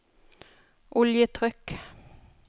oljetrykk